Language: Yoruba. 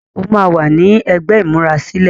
óma wá ní ègbé imurasilẹ.